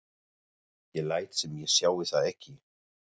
Ég læt sem ég sjái þá ekki.